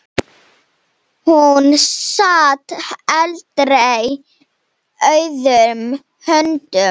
Hún sat aldrei auðum höndum.